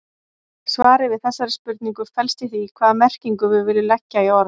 Svarið við þessari spurningu felst í því hvaða merkingu við viljum leggja í orð.